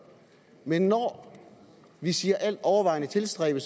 men når vi siger altovervejende tilstræbe